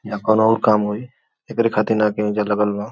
यहाँ कौनो और काम होइ एकरे खातीर न बा।